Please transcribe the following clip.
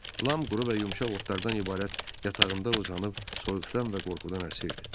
Lam quru və yumşaq otlardan ibarət yatağında uzanıb soyuqdan və qorxudan əsirdi.